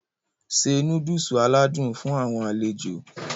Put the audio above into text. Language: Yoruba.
Se Núdúùsù aládùn fún àwọn alejo